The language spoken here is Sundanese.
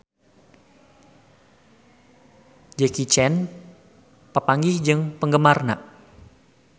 Jackie Chan papanggih jeung penggemarna